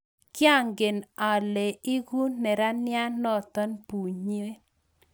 Kiangen ale leku neranie noto bunyin